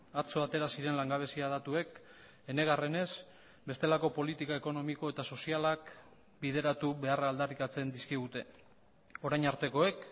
atzo atera ziren langabezia datuek enegarrenez bestelako politika ekonomiko eta sozialak bideratu beharra aldarrikatzen dizkigute orain artekoek